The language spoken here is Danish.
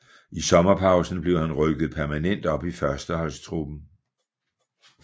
I sommerpausen blev han rykket permanent op i førsteholdstruppen